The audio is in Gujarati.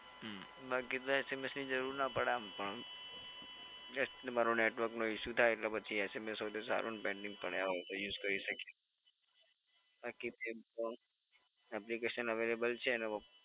હમ્મ બાકી તો SMS ની જરુર તો ના પડે આમ પણ જસ્ટ તમારો નેટવર્ક નો ઇશ્યૂ થાય એટલે પછી SMS હોય તો સારું ને પેન્ડિંગ પડ્યા હોય તો યુજ કરી શકીએ બાકી તો એમ પણ એપ્લિકેશન અવૈલેબલ છે એનો